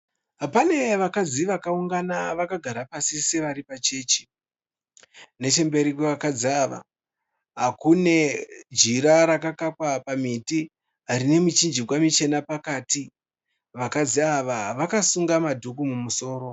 Pane vakadzi vakaungana vakagara pasi sevari pachechi. Nechemberi kwevakadzi ava kune jira rakakakwa pamiti rine michinjikwa michena pakati. Vakadzi ava vakasunga madhuku mumusoro.